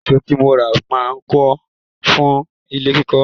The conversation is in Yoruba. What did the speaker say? Èsó tí mo rà máa tó fún ilé kíkọ́.